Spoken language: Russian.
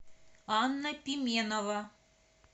анна пименова